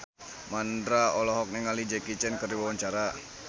Mandra olohok ningali Jackie Chan keur diwawancara